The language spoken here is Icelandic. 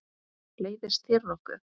Leiðist þér nokkuð?